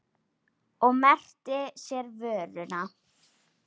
Og merkti sér vöruna.